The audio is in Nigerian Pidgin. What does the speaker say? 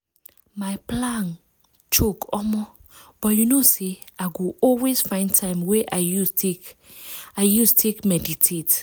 my plan choke omo!!! but you know say i go always find time wey i use take i use take meditate.